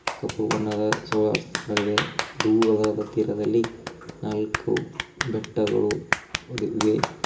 ಕಪ್ಪು ಬಣ್ಣದ ಸೋಲರ್ಸ್ ಗಳಿವೆ ದೂರದ ತೀರದಲ್ಲಿ ನಾಲ್ಕು ಬೆಟ್ಟಗಳು ಇವೆ.